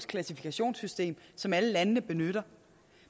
klassifikationssystem som alle landene benytter